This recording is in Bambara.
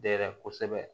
Dɛrɛ kosɛbɛ